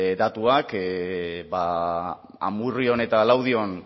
datuak amurrion eta laudion